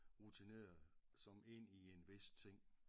Rutineret som ind i en vis ting